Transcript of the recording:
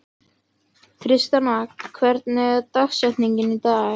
Tristana, hver er dagsetningin í dag?